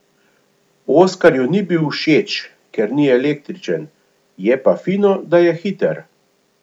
Oskarju ni bil všeč, ker ni električen, je pa fino, da je hiter.